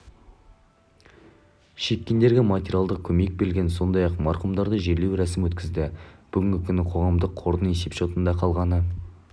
шеккендерге материалдық көмек берілген сондай-ақ марқұмдарды жерлеу рәсімі өткізілді бүгінгі күні қоғамдық қордың есепшотында қалғаны